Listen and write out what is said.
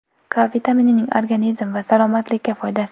K vitaminining organizm va salomatlikka foydasi.